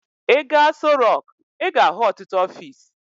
Ị gaa Aso Rọk, ị ga-ahụ ọtụtụ ọfiisi.